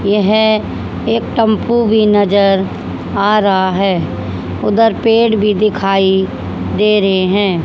यह एक टम्पू भी नजर आ रहा है उधर पेड़ भी दिखाई दे रहे है।